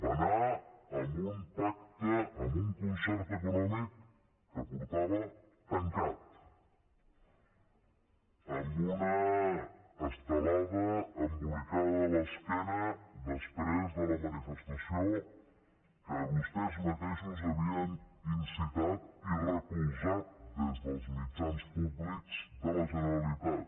va anar hi amb un pacte amb un concert econòmic que portava tancat amb una estelada embolicada a l’esquena després de la manifestació que vostès mateixos havien incitat i recolzat des dels mitjans públics de la generalitat